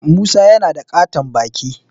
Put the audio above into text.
Musa yana da ƙaton baki